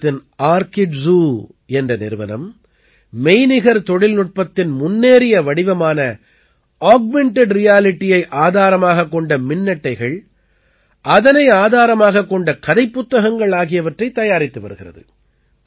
குஜராத்தின் Arkidzooஆர்க்கிட்ஜூ என்ற நிறுவனம் மெய்நிகர் தொழில்நுட்பத்தின் முன்னேறிய வடிவமான ஆக்மென்டட் realityயை ஆதாரமாகக் கொண்ட மின்னட்டைகள் அதனை ஆதாரமாகக் கொண்ட கதைப் புத்தகங்கள் ஆகியவற்றைத் தயாரித்து வருகிறது